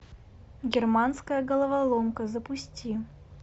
германская головоломка запусти